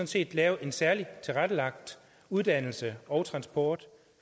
set lave en særligt tilrettelagt uddannelse og transport